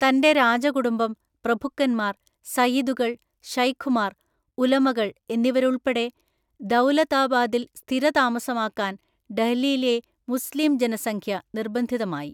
തന്റെ രാജകുടുംബം, പ്രഭുക്കന്മാർ, സയ്യിദുകൾ, ശൈഖുമാർ, ഉലമകൾ എന്നിവരുൾപ്പെടെ ദൗലതാബാദിൽ സ്ഥിരതാമസമാക്കാൻ ഡെഹ്‌ലിയിലെ മുസ്ലീം ജനസംഖ്യ നിർബന്ധിതമായി